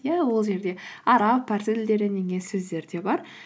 иә ол жерде араб парсы тілдерінен енген сөздер де бар